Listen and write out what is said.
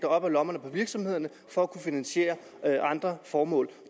op af lommerne på virksomhederne for at kunne finansiere andre formål